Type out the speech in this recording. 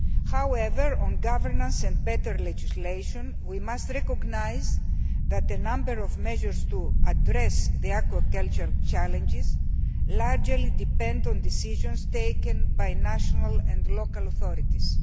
However, on governance and better legislation we must recognise that a number of measures to address the aquaculture challenges largely depend on decisions taken by national and local authorities.